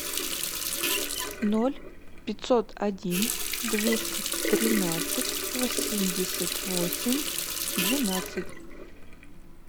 ноль пятьсот один двести тринадцать восемьдесят восемь двенадцать